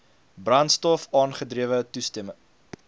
brandstof aangedrewe toestelle